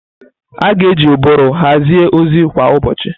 A ga-eji ụbụrụ hazie ozi kwa ụbọchị.